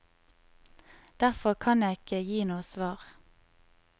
Derfor kan jeg ikke gi noe svar.